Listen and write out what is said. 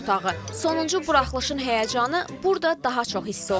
Efir otağı, sonuncu buraxılışın həyəcanı burda daha çox hiss olunur.